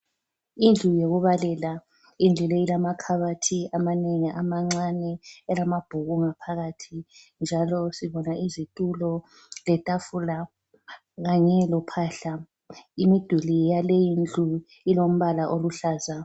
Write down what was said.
Indlu yokubalela: indlu le ilamakhabathi amanengi amancane elamabhuku ngaphakathi. Njalo sibona izitulo letafula kanye lophahla. Imiduli yaleyindlu ilombala oluhlaza.